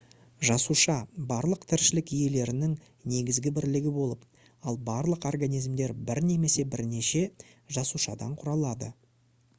жасуша барлық тіршілік иелерінің негізгі бірлігі болып ал барлық организмдер бір немесе бірнеше жасушадан құралады